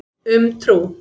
Um trú.